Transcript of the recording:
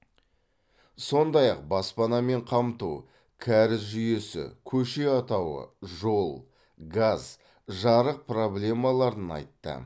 сондай ақ баспанамен қамту кәріз жүйесі көше атауы жол газ жарық проблемаларын айтты